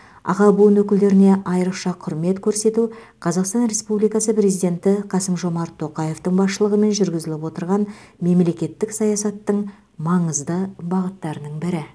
аға буын өкілдеріне айрықша құрмет көрсету қазақстан республикасы президенті қасым жомарт тоқаевтың басшылығымен жүргізіліп отырған мемлекеттік саясаттың маңызды бағыттарының бірі